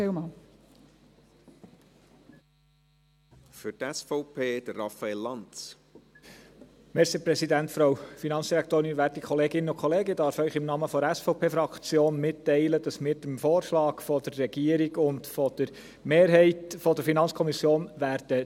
Ich darf Ihnen im Namen der SVP-Fraktion mitteilen, dass wir dem Vorschlag der Regierung und der Mehrheit der FiKo zustimmen werden.